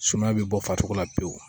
Sumaya bɛ bɔ faso la pewu